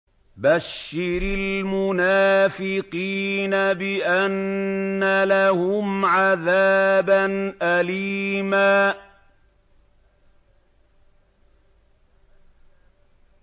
بَشِّرِ الْمُنَافِقِينَ بِأَنَّ لَهُمْ عَذَابًا أَلِيمًا